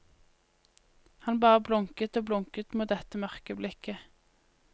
Han bare blunket og blunket mot dette mørke blikket.